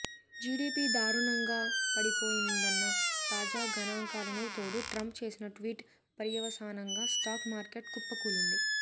GDP దారుణంగా పడిపోయిందన్న తాజా గణాంకాలకు తోడు ట్రంప్ చేసిన ట్వీట్ పర్యవసానంగా స్టాక్ మార్కెట్ కుప్పకూలింది